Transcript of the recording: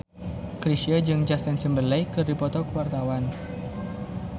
Chrisye jeung Justin Timberlake keur dipoto ku wartawan